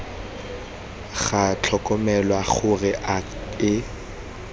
ga tlhokomelwa gore ga e